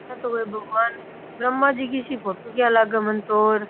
ब्रम्हा जी की सी फोटो किया लागे मने तो।